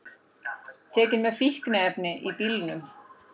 Tekin með fíkniefni í bílnum